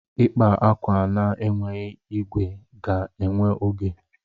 Ịkpa akwa na-enweghị igwe ga-ewe oge.